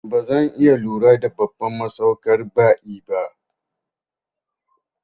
Bazan iya lura da babban masaukar ba'i ba